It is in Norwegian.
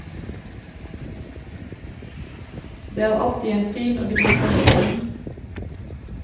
Det er alltid en fin og gripende stund.